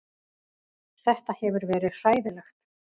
Þetta hefur verið hræðilegt